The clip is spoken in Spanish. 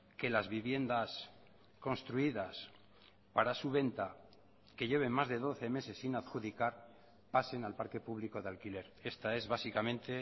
que las viviendas construidas para su venta que lleven más de doce meses sin adjudicar pasen al parque público de alquiler esta es básicamente